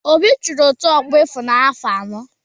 Obi chịrị otu ọgbọ Ịfụnanya afọ anọ.